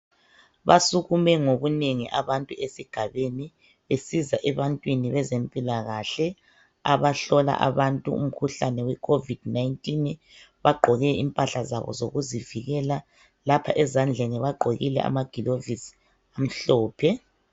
Basukume ngobunengi abantu esigabeni besiza ebantwini bezempilakahle, abahlola abantu umkhuhlane weCovid 19. Bagqoke impahla zabo zokuzivikela. Lapha ezandleni bagqokile amagilovisi amhlophe.